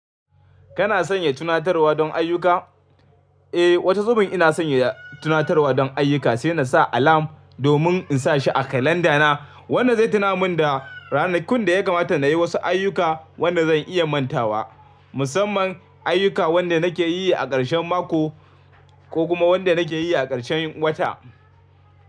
Kana sanya tunatarwa don ayyuka? Eh, wata zubin ina sanya tunatarwa don ayyuka sai na sa alarm domin in sa shi a kalanda na wanda zai tuna min da ranakun da ya kamata na yi wasu ayyuka wanda zan iya mantawa. Musamman ayyuka wanda nake yi a ƙarshen mako ko kuma wanda nake yi a ƙarshen wata.